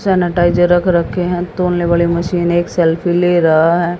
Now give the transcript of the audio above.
Sanitiser रख रखे हैं तौलने वाले मशीन एक सेल्फी ले रहा हैं।